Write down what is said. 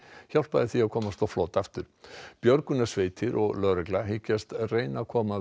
hjálpaði því að komast á flot aftur björgunarsveitir og lögregla hyggjast reyna að koma